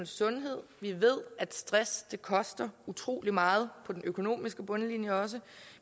sundhed vi ved at stress koster utrolig meget på den økonomiske bundlinje og